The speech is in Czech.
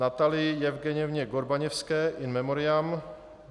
Natalii Jevgenjevně Gorbaněvské, in memoriam